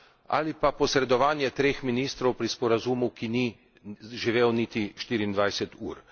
ali pa posredovanje treh ministrov pri sporazumu, ki ni živel niti 24 ur.